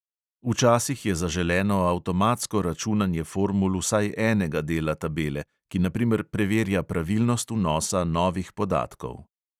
Včasih je zaželeno avtomatsko računanje formul vsaj enega dela tabele, ki na primer preverja pravilnost vnosa novih podatkov.